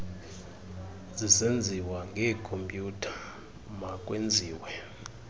zisenziwa ngekhompyutha makwenziwe